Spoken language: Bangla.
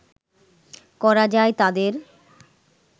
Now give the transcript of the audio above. করা যায় তাদের